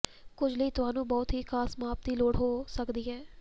ਕੁਝ ਲਈ ਤੁਹਾਨੂੰ ਬਹੁਤ ਹੀ ਖਾਸ ਮਾਪ ਦੀ ਲੋੜ ਹੋ ਸਕਦੀ ਹੈ